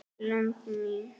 lömb mín.